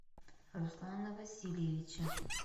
руслана васильевича